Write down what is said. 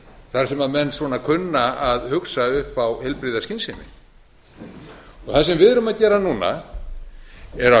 þar sem menn kunna að hugsa upp á heilbrigða skynsemi það sem við erum að gera núna er að